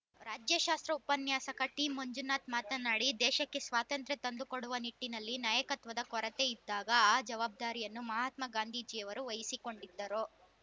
ರಾಜ್ಯಶಾಸ್ತ್ರ ಉಪನ್ಯಾಸಕ ಟಿಮಂಜುನಾಥ್‌ ಮಾತನಾಡಿ ದೇಶಕ್ಕೆ ಸ್ವಾತಂತ್ರ್ಯ ತಂದು ಕೊಡುವ ನಿಟ್ಟಿನಲ್ಲಿ ನಾಯಕತ್ವದ ಕೊರತೆಯಿದ್ದಾಗ ಆ ಜವಾಬ್ದಾರಿಯನ್ನು ಮಹಾತ್ಮಾ ಗಾಂಧೀಜಿಯವರು ವಹಿಸಿಕೊಂಡಿದ್ದರು